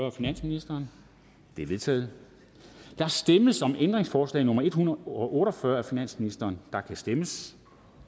af finansministeren de er vedtaget der stemmes om ændringsforslag nummer en hundrede og otte og fyrre af finansministeren og der kan stemmes